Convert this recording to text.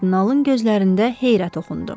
Kardinalın gözlərində heyrət oxundu.